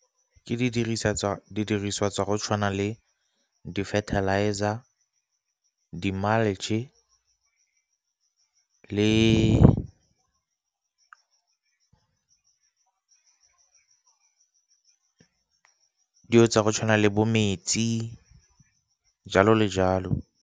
Ke didiriswa tsa go tshwana le di-fertilizer, le dilo tsa go tshwana le bo metsi jalo le jalo.